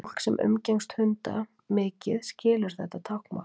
Fólk sem umgengst hunda mikið skilur þetta táknmál.